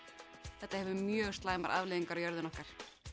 þetta hefur mjög slæmar afleiðingar á jörðina okkar